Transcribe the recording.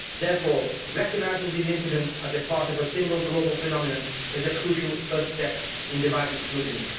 Therefore, recognising these incidents as a part of a single global phenomenon is a crucial first step in devising solutions.